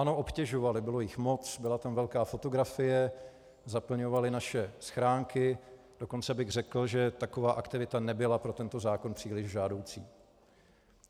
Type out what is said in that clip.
Ano, obtěžovaly, bylo jich moc, byla tam velká fotografie, zaplňovaly naše schránky, dokonce bych řekl, že taková aktivita nebyla pro tento zákon příliš žádoucí.